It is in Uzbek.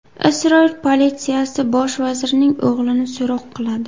Isroil politsiyasi bosh vazirning o‘g‘lini so‘roq qiladi.